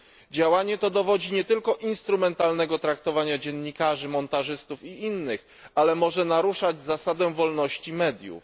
Działanie to dowodzi nie tylko instrumentalnego traktowania dziennikarzy, montażystów i innych, ale może naruszać zasadę wolności mediów.